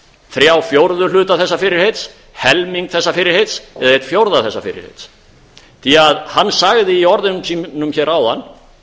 þrjá fjórðu hluta þessa fyrirheits helming þessa fyrirheits eða einn fjórða þessa fyrirheits því hann sagði í orðum sínum hér áðan